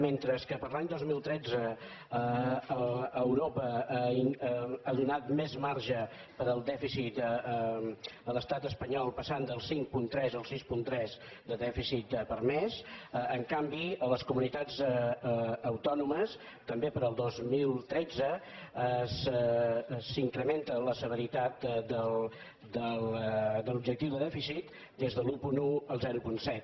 mentre que per a l’any dos mil tretze europa ha donat més marge per al dèficit a l’estat espanyol passant del cinc coma tres al sis coma tres de dèficit permès en canvi a les comunitats autònomes també per al dos mil tretze s’incrementa la severitat de l’objectiu de dèficit des de l’un coma un al zero coma set